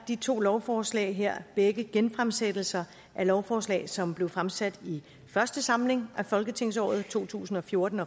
de to lovforslag her begge genfremsættelser af lovforslag som blev fremsat i første samling af folketingsåret to tusind og fjorten